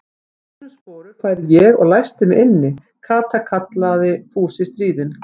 Í þínum sporum færi ég og læsti mig inni, Kata kallaði Fúsi stríðinn.